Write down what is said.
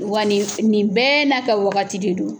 Wa nin bɛɛ n'a ka wagati de don.